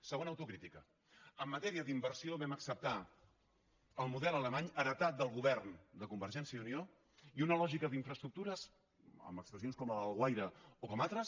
segona autocrítica en matèria d’inversió vam acceptar el model alemany heretat del govern de convergència i unió i una lògica d’infraestructures amb expressions com la d’alguaire o com altres